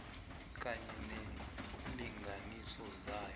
kunye neenlinganiso zayo